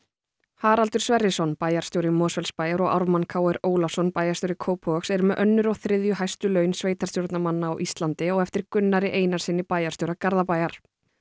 Haraldur Sverrisson bæjarstjóri Mosfellsbæjar og Ármann Ólafsson bæjarstjóri Kópavogs eru með önnur og þriðju hæstu laun sveitarstjórnarmanna á Íslandi á eftir Gunnari Einarssyni bæjarstjóra Garðabæjar